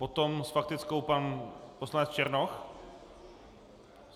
Potom s faktickou pan poslanec Černoch?